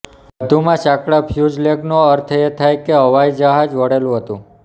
વધુમાં સાંકળા ફયુઝલેગનો અર્થ એ થાય કે હવાઇ જહાજ વળેલું હતું